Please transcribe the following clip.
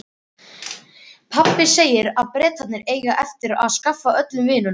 Pabbi segir að Bretarnir eigi eftir að skaffa öllum vinnu.